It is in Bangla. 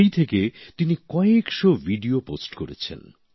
সেই থেকে তিনি কয়েকশো ভিডিও পোস্ট করেছেন